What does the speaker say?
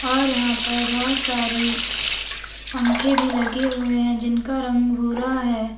और यहां पर बहोत सारी पंखे भी लगे हुए हैं जिनका रंग भूरा है।